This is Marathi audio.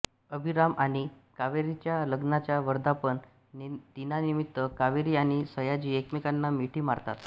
अभिराम आणि कावेरीच्या लग्नाच्या वर्धापन दिनानिमित्त कावेरी आणि सयाजी एकमेकांना मिठी मारतात